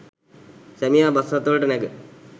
සැමියා බස් රථවලට නැඟ